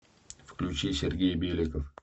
включи сергей беликов